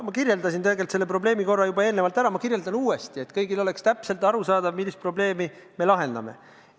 Ma kirjeldasin selle probleemi tegelikult juba enne ära, aga ma kirjeldan uuesti, et kõigi jaoks oleks täpselt arusaadav, millist probleemi me lahendame.